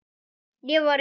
Ég var í